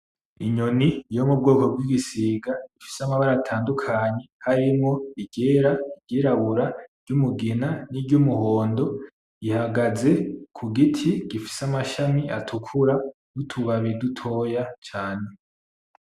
Inyoni yomubwoko bw'igisiga ifise amabara atandukanye harimo: iryera; iryirabura; iryumugina n'iryumuhondo, ihagaze kugiti gifise amashami atukura y’utubabi dutoya cane.